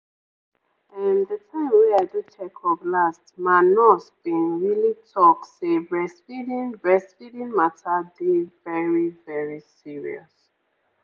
ehm the time wey i do check-up last ma nurse bin really talk say breastfeeding breastfeeding mata dey very very serious.